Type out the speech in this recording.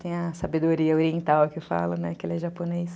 Tem a sabedoria oriental que eu falo, né, que ele é japonês.